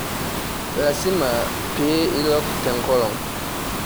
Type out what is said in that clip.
Lasima pee ilok te ngolong.